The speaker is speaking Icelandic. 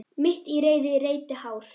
Mitt í reiði reyti hár.